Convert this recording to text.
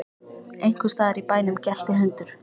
Einhvers staðar í bænum gelti hundur.